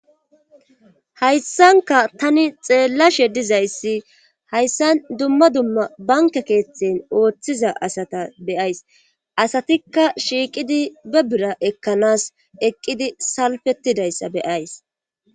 hayssanka tani xeellashe dizayssi hayssa dumma dumma banke keeththen ooththiza asata beyays asatikka shiiqidi be bira ekkanas eqqidi salfettidayssa beyays